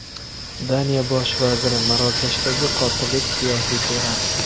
Daniya Bosh vaziri: Marokashdagi qotillik siyosiy terakt.